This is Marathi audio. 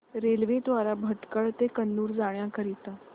रेल्वे द्वारे भटकळ ते कन्नूर जाण्या करीता